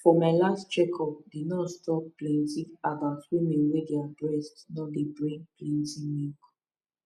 for my last check up the nurse talk plenty about women wen their breast nor dey bring plenty milk